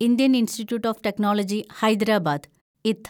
Indian institute of technology Hyderabad (ഇത്)